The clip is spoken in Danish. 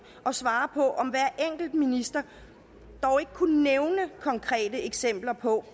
og svare på om hver enkelt minister dog ikke kunne nævne konkrete eksempler på